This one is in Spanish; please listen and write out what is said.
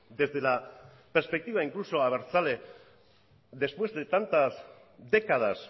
desde la perspectiva incluso abertzale después de tantas décadas